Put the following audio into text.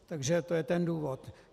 Takže to je ten důvod.